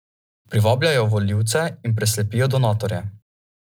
Privabljajo volivce in preslepijo donatorje.